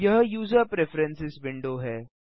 यह user preferences window है